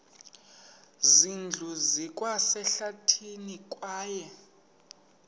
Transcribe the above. zindlu zikwasehlathini kwaye